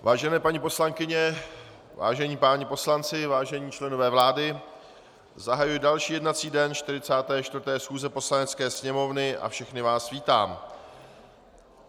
Vážené paní poslankyně, vážení páni poslanci, vážení členové vlády, zahajuji další jednací den 44. schůze Poslanecké sněmovny a všechny vás vítám.